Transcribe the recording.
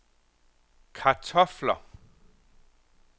kartofler